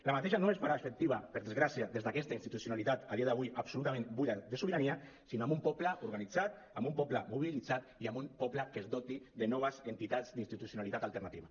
aquesta no es farà efectiva per desgràcia des d’aquesta institucionalitat a dia d’avui absolutament buida de sobirania sinó amb un poble organitzat amb un poble mobilitzat i amb un poble que es doti de noves entitats d’institucionalitat alternativa